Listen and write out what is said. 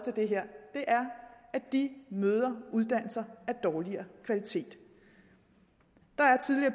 at de møder uddannelser af dårligere kvalitet